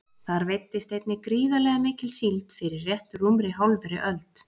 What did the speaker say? Þar veiddist einnig gríðarlega mikil síld fyrir rétt rúmri hálfri öld.